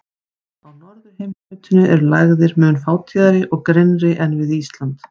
Á norðurheimskautinu eru lægðir mun fátíðari og grynnri en við Ísland.